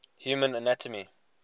human anatomy